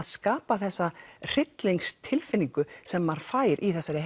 skapa þessa sem maður fær í þessari